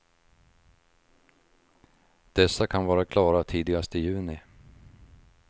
Dessa kan vara klara tidigast i juni.